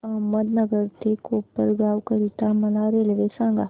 अहमदनगर ते कोपरगाव करीता मला रेल्वे सांगा